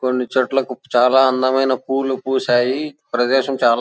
కొన్ని చోట్ల చాల అందమైన పూలు పూశాయి ప్రదేశం చాలా --